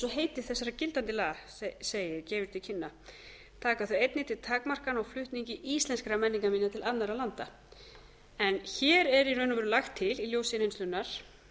heiti þessara gildandi laga gefur til kynna taka þau einnig til takmarkana á flutningi íslenskra menningarminja til annarra landa hér er í raun og veru lagt til í ljósi reynslunnar